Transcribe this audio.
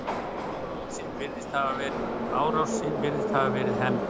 Árásin virðist hafa verið hefnd.